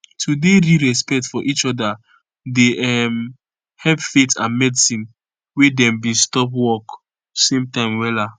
to dey real respect for each oda dey um help faith and medicine wey dem bin stop work same time wella